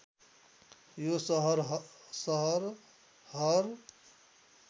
यो सहर हर